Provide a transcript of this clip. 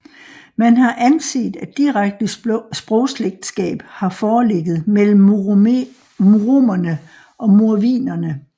Man har anset at direkte sprogslægtskab har foreligget mellem muromerne og mordvinerne